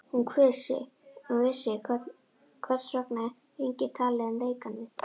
Hún vissi, hvers vegna enginn talaði um lekann við